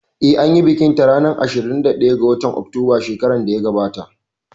Eh, anyi bikin ta a ranar ashirin da ɗaya ga watan Oktoba shekarar da ta gabata